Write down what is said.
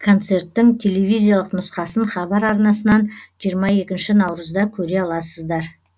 концерттің телевизиялық нұсқасын хабар арнасынан жиырма екінші наурызда көре аласыздар